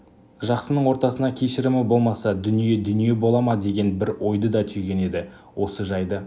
жақсының ортасына кешірімі болмаса дүние дүние бола ма деген бір ойды да түйген еді осы жайды